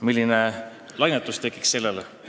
Milline lainetus tekiks selle peale!